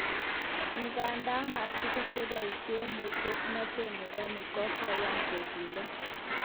Igandan matugul cheboishen musoknotet nebo nik kokoyan koguyo.